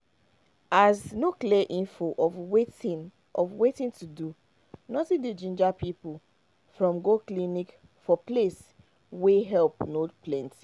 as no clear info of wetin of wetin to do nothing dey ginga people from go clinic from place wey help no plenty